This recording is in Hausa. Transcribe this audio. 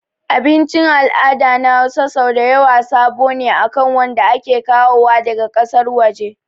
Abicin al'adu na Hausa sau dayawa sabo ne akan wanda ake kawowa daga ƙasar waje